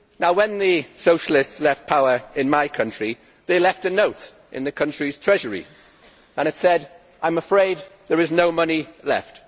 When the socialists left power in my country, they left a note in the country's Treasury. It said I am afraid there is no money left'.